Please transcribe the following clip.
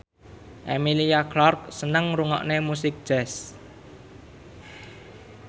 Emilia Clarke seneng ngrungokne musik jazz